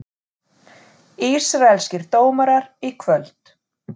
Ísraelskir dómarar í kvöld